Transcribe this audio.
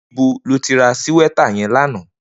Nibó ló ti rà síwètá yèn lànã?